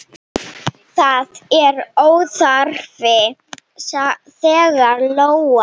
Það er óþarfi, sagði Lóa.